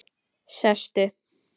Sestu